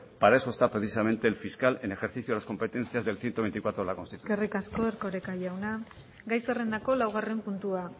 para eso está precisamente el fiscal en el ejercicio de las competencias del ciento veinticuatro de la constitución eskerrik asko erkoreka jauna gai zerrendako laugarren puntua